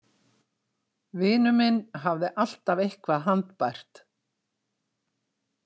Vinur minn hafði alltaf eitthvað handbært.